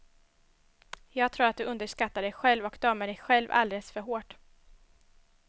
Jag tror att du underskattar dig själv och dömer dig själv alldeles för hårt.